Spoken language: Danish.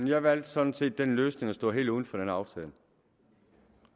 jeg valgte sådan set den løsning at stå helt uden for den aftale